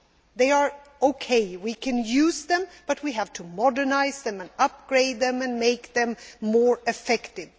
they are OK. We can use them but we have to modernise them, upgrade them and make them more effective.